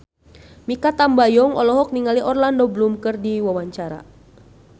Mikha Tambayong olohok ningali Orlando Bloom keur diwawancara